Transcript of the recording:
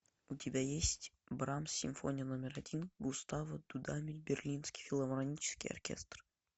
у тебя есть брамс симфония номер один густаво дудамель берлинский филармонический оркестр